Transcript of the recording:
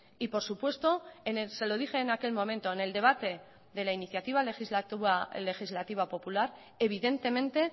y por supuesto se lo dije en aquel momento en el debate de la iniciativa legislativa popular evidentemente